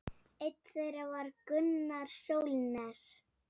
Einn þeirra var Gunnar Sólnes.